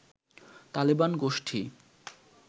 তালেবান গোষ্ঠী